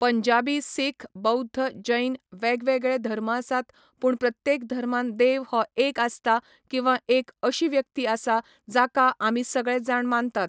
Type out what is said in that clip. पंजाबी सीख बौद्ध जैन वेगवेगळे धर्म आसात पूण प्रत्येक धर्मान देव हो एक आसता किंवा एक अशीं व्यक्ती आसा जाका आमी सगळे जाण मानतात